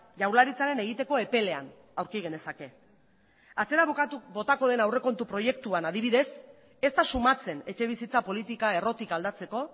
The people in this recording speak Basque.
jaurlaritzaren egiteko epelean aurki genezake atzera botako den aurrekontu proiektuan adibidez ez da somatzen etxebizitza politika errotik aldatzeko